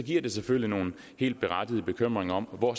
selvfølgelig nogle helt berettigede bekymringer om hvor